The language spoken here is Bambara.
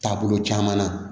Taabolo caman na